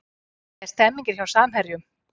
Hvernig er stemningin hjá Samherjum?